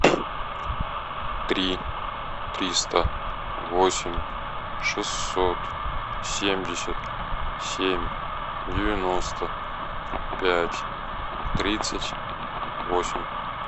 три триста восемь шестьсот семьдесят семь девяносто пять тридцать восемь